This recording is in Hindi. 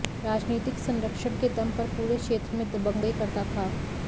राजनीतिक सरंक्षण के दम पर पूरे क्षेत्र में दबंगई करता था